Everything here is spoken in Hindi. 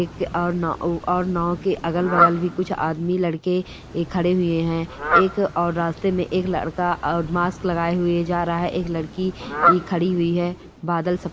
एक और नाव और नाव के अगल-बगल भी कुछ आदमी लड़के खड़े हुए हैं एक और रास्ते में एक लड़का मास्क लगाए हुए जा रहा है एक लड़की भी खड़ी है बादल सफ--